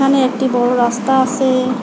এখানে একটি বড়ো রাস্তা আসে ।